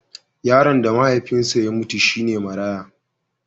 Yaron da mahaifinsa ya mutu shi ne maraya.